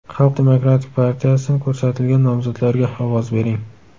Xalq demokratik partiyasidan ko‘rsatilgan nomzodlarga ovoz bering!